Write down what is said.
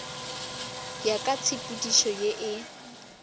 ya ka tshepedišo ye e